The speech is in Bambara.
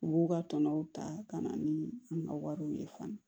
U b'u ka tɔnɔ ta ka na ni an ka wariw ye fana